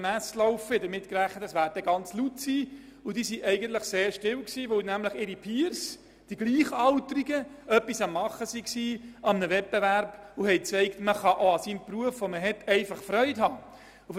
Ich hatte damit gerechnet, dass es sehr laut zugehen würde, aber es blieb erstaunlich leise, weil ihre Peers, die Gleichaltrigen, an der Arbeit waren beziehungsweise an einem Wettbewerb teilnahmen und zeigten, dass man an seinem Beruf auch schlicht Freude haben kann.